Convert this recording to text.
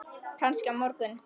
Kannski á morgun.